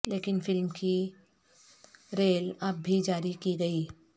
لیکن فلم کی ریل اب بھی جاری کی گئی